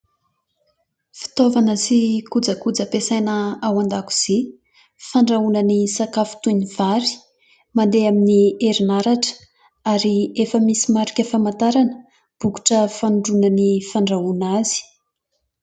Fitaovana sy kojakoja ampiasaina ao an-dakozia, fandrahoana ny sakafo toy ny vary, mandeha amin'ny herinaratra ary efa misy marika famantarana, bokotra fanindroana ny fandrahoana azy.